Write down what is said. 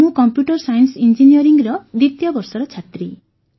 ମୁଁ computer science ଇଂଜିନିୟରିଂର ଦ୍ୱିତୀୟ ବର୍ଷର ଛାତ୍ରୀ